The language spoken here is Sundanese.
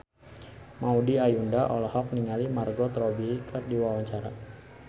Maudy Ayunda olohok ningali Margot Robbie keur diwawancara